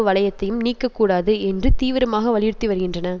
வலையத்தையும் நீக்க கூடாது என்று தீவிரமாக வலியுறுத்தி வருகின்றன